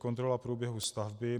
Kontrola průběhu stavby.